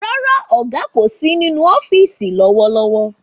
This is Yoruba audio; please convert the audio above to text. Rárá, ọ̀gá kò sí nínú ọ́fìsì lówó lówó